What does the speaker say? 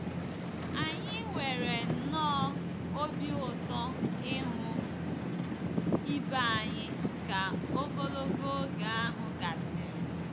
Anyị nwere nnọọ obi ụtọ ịhụ ibe anyị ka ogologo oge ahụ gasịrị.